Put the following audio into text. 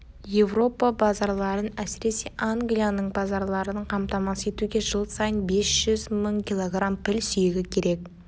еуропа базарларын әсіресе англияның базарларын қамтамасыз етуге жыл сайын бес жүз мың килограмм піл сүйегі керек